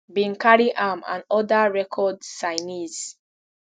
bin carry am and oda record signees